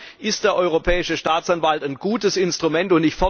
Insofern ist der Europäische Staatsanwalt ein gutes Instrument.